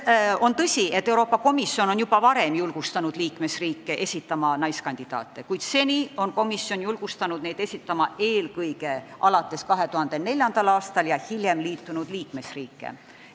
On tõsi, et Euroopa Komisjon on juba varem julgustanud liikmesriike esitama naiskandidaate, kuid seni on komisjon seda tehes silmas pidanud eelkõige kas 2004. aastal või hiljem liitunud liikmesriike.